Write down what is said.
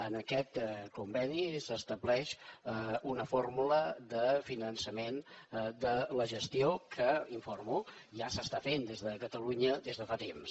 en aquest conveni s’estableix una fórmula de finançament de la gestió que n’informo ja s’està fent des de catalunya des de fa temps